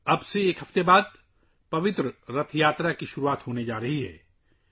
مقدس رتھ یاترا اب سے ایک ہفتہ بعد سے شروع ہونے والی ہے